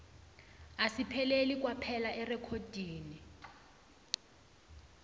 asipheleli kwaphela erekhodini